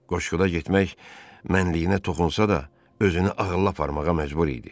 Qoşquda getmək mənliyinə toxunsa da özünü ağılla aparmağa məcbur idi.